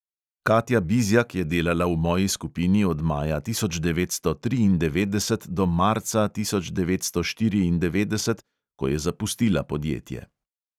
Katja bizjak je delala v moji skupini od maja tisoč devetsto triindevetdeset do marca tisoč devetsto štiriindevetdeset, ko je zapustila podjetje.